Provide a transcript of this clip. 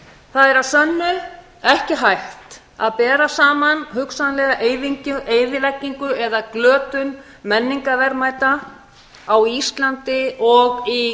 það er að sönnu ekki hægt að bera saman hugsanlega eyðileggingu eða glötun menningarverðmæta á íslandi og í